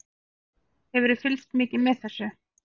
Hefurðu fylgst mikið með þessu?